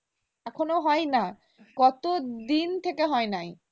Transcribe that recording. এখনো হয় নাই কত দিন থেকে হয় নাই